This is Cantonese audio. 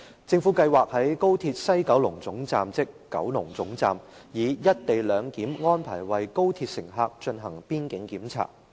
政府計劃在高鐵西九龍總站，以"一地兩檢"安排為高鐵乘客進行邊境檢查。